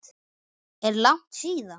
Er langt síðan?